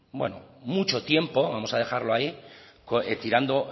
mucho tiempo vamos a dejarlo ahí tirando